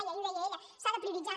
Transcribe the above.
i ahir ho deia ella s’ha de prioritzar